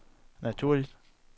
naturligt